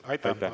Aitäh!